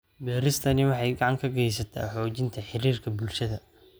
Beeristani waxay gacan ka geysataa xoojinta xiriirka bulshada.